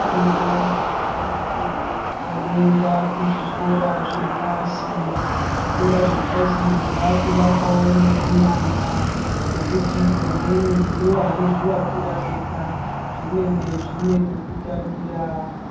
Tinavo vana vedu vanoenda kuzvikora zvepashi zvikora zvepashi zvakuvakwawo neunyanzvi nekuti vamweni nevanozvivakira vega zvinenge zvine pekutambira .